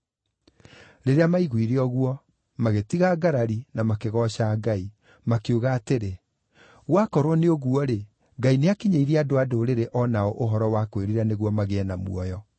Rĩrĩa maaiguire ũguo, magĩtiga ngarari na makĩgooca Ngai, makiuga atĩrĩ, “Gwakorwo nĩ ũguo-rĩ, Ngai nĩakinyĩirie andũ-a-Ndũrĩrĩ o nao ũhoro wa kwĩrira nĩguo magĩe na muoyo.”